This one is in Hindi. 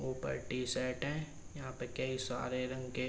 ऊपर टी-शर्ट हैं। जहाँ कई सारे रंग के --